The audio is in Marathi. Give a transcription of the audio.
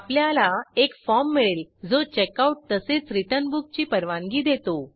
आपल्याला एक फॉर्म मिळेल जो चेकआउट तसेच रिटर्न बुक ची परवानगी देतो